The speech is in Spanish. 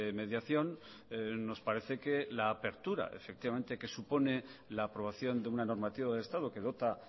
mediación nos parece que la apertura efectivamente que supone la aprobación de una normativa de estado que dota